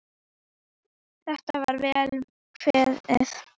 Þetta er vel kveðið.